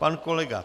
Pan kolega